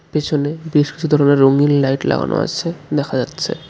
পিছনে বেশ কিছু ধরনের রঙিন লাইট লাগানো আছে দেখা যাচ্ছে।